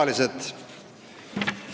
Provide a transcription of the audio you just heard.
Külalised!